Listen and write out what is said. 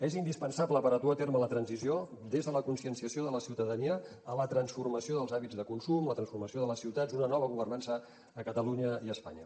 és indispensable per a dur a terme la transició des de la conscienciació de la ciutadania a la transformació dels hàbits de consum la transformació de les ciutats una nova governança a catalunya i a espanya